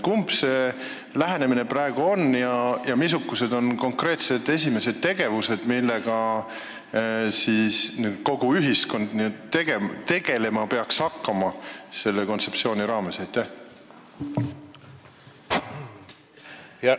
Kumma lähenemisega tegu on ja missugused on konkreetsed esimesed tegevused, millega kogu ühiskond nüüd selle kontseptsiooni raames tegelema peaks hakkama?